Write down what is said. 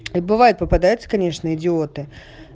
бывает попадаются конечно идиоты